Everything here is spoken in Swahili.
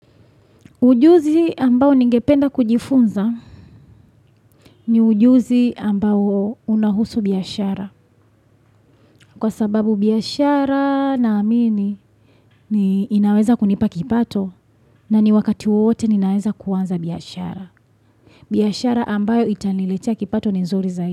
Ujuzi ambao ningependa kujifunza ni ujuzi ambao unahusu biashara. Kwa sababu biashara na amini ni inaweza kunipa kipato na ni wakati wowote ninaweza kuanza biashara. Biashara ambayo itaniletea kipato ni nzuri zaidi.